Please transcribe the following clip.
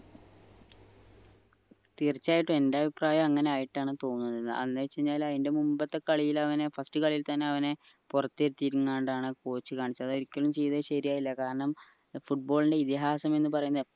തീർച്ചയായിട്ടും എന്റെ അഭിപ്രായം അങ്ങനെ ആയിട്ടാണ് തോന്നുന്നത് അന്ന് വെച്ചയ്ക്കഴിഞ്ഞ അതിന്റെ മുമ്പത്തെ കളിയിലെ അവനെ first കളിയിൽ തന്നെ അവനെ പുറത്തു ഇരുത്തിയിരുന്നത് കൊണ്ടാണ് പോർച്ചുഗൽ അതൊരിക്കലും ചെയ്ത ശരിയായില്ല കാരണം football ൻ്റെ ഇതിഹാസം എന്ന് പറയുന്ന